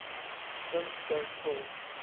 in te vul